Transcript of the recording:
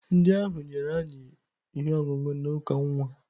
Ndị ahụ nyere anyị ihe ọṅụṅụ na uka nwa.